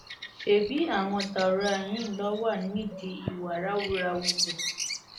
ṣebí àwọn daura yìí ni wọn wà nídìí ìwà ráúráú bẹẹ